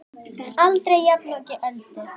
Aldrei jafnoki Öldu.